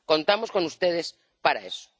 Contamos con ustedes para eso.